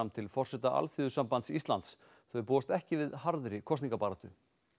til forseta Alþýðusamanbands Íslands þau búast ekki við harðri kosningabaráttu